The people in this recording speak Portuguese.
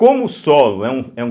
Como o solo é um é um